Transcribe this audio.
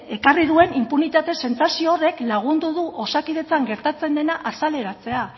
ekarri duen inpunitate sentsazio horrek lagundu du osakidetzan gertatzen dena azaleratzea